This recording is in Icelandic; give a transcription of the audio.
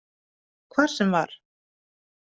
Hvar sem var.